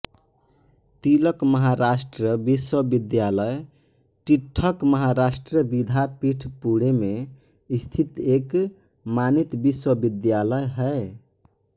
तिलक महाराष्ट्र विश्वविद्यालय टिळक महाराष्ट्र विद्यापीठ पुणे में स्थित एक मानित विश्वविद्यालय है